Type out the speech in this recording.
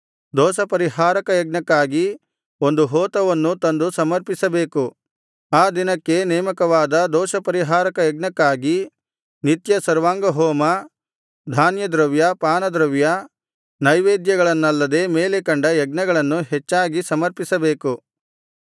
ದೋಷಪರಿಹಾರಕ ಯಜ್ಞಕ್ಕಾಗಿ ಒಂದು ಹೋತವನ್ನೂ ತಂದು ಸಮರ್ಪಿಸಬೇಕು ಆ ದಿನಕ್ಕೆ ನೇಮಕವಾದ ದೋಷಪರಿಹಾರಕ ಯಜ್ಞಕ್ಕಾಗಿ ನಿತ್ಯ ಸರ್ವಾಂಗಹೋಮ ಧಾನ್ಯದ್ರವ್ಯ ಪಾನದ್ರವ್ಯ ನೈವೇದ್ಯಗಳನ್ನಲ್ಲದೆ ಮೇಲೆ ಕಂಡ ಯಜ್ಞಗಳನ್ನು ಹೆಚ್ಚಾಗಿ ಸಮರ್ಪಿಸಬೇಕು